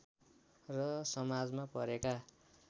र समाजमा परेका